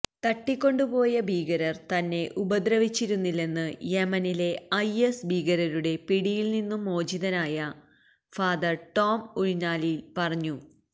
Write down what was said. തട്ടിക്കൊണ്ട് പോയ ഭീകരര് തന്നെ ഉപദ്രവിച്ചിരുന്നില്ലെന്ന് യെമനിലെ ഐഎസ് ഭീകരരുടെ പിടിയില് നിന്നും മോചിചതനായ ഫാദര് ടോം ഉഴുന്നാലില് പറഞ്ഞു